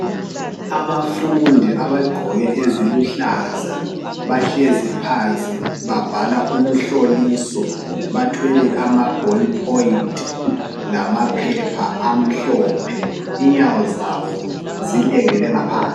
Abafundi abagqoke eziluhlaza bahlezi phansi babhala umhloliso bathwele ama ball point lamaphepha amhlophe, inyawo zabo zilengele ngaphansi.